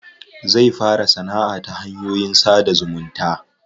Zai fara sanaʼa ta hanyoyin sada zumunta.